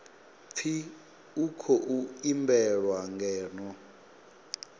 pfi u khou imbelwa ngeno